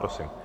Prosím.